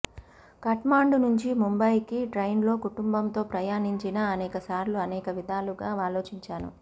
ఖాట్మాండు నుంచి ముంబాయికి ట్రైన్లో కుటుంబంతో ప్రయాణించినా అనేక సార్లు అనేక విధాలుగా ఆలోచించాను